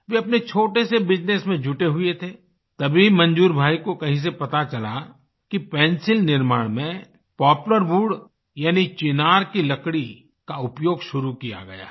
वे अपने छोटे से बिजनेस में जुटे हुए थे तभी मंजूर भाई को कहीं से पता चला कि पेंसिल निर्माण में पोपलार वूड यानी चिनार की लकड़ी का उपयोग शुरू किया गया है